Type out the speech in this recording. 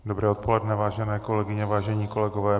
Dobré odpoledne, vážené kolegyně, vážení kolegové.